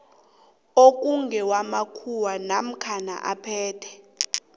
okungewamakhuwa namkha aphethwe